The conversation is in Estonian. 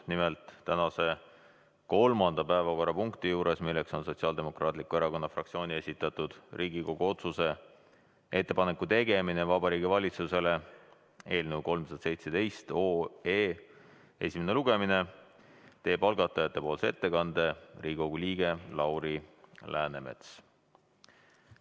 Nimelt, tänase kolmanda päevakorrapunkti juures, milleks on Sotsiaaldemokraatliku Erakonna fraktsiooni esitatud Riigikogu otsuse "Ettepaneku tegemine Vabariigi Valitsusele" eelnõu 317 esimene lugemine, teeb algatajate nimel ettekande Riigikogu liige Lauri Läänemets.